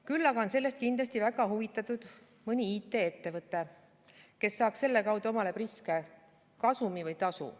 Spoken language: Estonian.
Küll aga on sellest kindlasti väga huvitatud mõni IT-ettevõte, kes saaks selle kaudu omale priske kasumi või tasu.